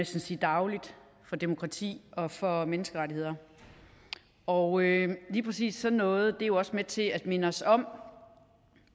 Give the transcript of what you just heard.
sige dagligt for demokrati og for menneskerettigheder og lige præcis sådan noget er jo også med til at minde os om